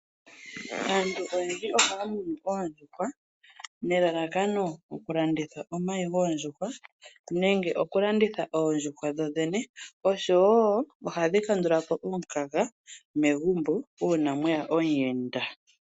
Aantu oyendji ohaya munu oondjuhwa nelalakano oku landitha omayi gwoondjuhwa nenge oku landitha oondjuhwa dho dhene oshowo ohadhi kandulapo omukaga megumbo uuna mweya omuyenda.